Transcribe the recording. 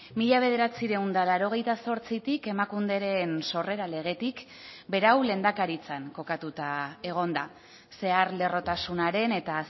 mila bederatziehun eta laurogeita zortzitik emakunderen sorrera legetik berau lehendakaritzan kokatuta egon da zeharlerrotasunaren eta